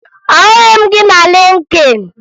Ahụghị m gị na Lịnkịn